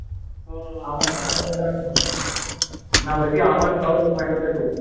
না বলছি আমান কবে zomato তে ঢুকল?